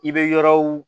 I bɛ yɔrɔw